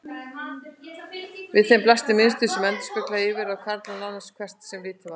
Við þeim blasti mynstur sem endurspeglaði yfirráð karla, nánast hvert sem litið var.